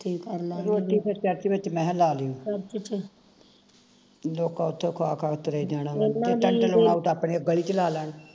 ਰੋਟੀ ਫਿਰ ਚਰਚ ਵਿਚ ਮੈਂ ਕਿਹਾ ਲਾ ਲਿਉ ਲੋਕਾਂ ਉਥੋਂ ਖਾ ਖਾ ਕੇ ਤੁਰੇ ਜਾਣਾ ਟੈਂਟ ਲਵਾਉ ਤੇ ਆਪਣੇ ਗਲੀ ਵਿਚ ਲਾ ਲੈਣ